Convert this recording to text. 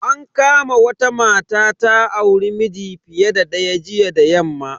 An kama wata mata data auri miji fiye da daya jiya da yamma.